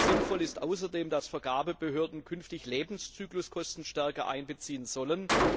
Sinnvoll ist außerdem, dass Vergabebehörden künftig Lebenszykluskosten stärker einbeziehen sollen.